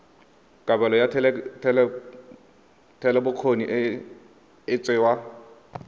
kabelo ya thetelelobokgoni e tsewa